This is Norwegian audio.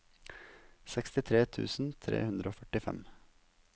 sekstitre tusen tre hundre og førtifem